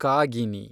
Kagini